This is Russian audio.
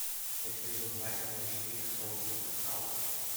эпизод два сезон четыре шоу доктор хаус